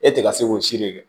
E tɛ ka se k'o siri kɛ